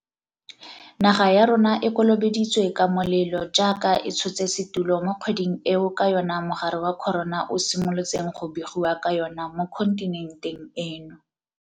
Naga ya rona e kolobeditswe ka molelo jaaka e tshotse setulo mo kgweding eo ka yona mogare wa corona o simolotseng go begiwa ka yona mo kontinenteng eno.